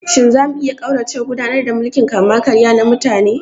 Shin za mu iya ƙauracewa gudanar da mulkin kama-karya na mutane?